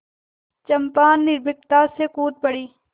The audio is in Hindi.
चंपा निर्भीकता से कूद पड़ी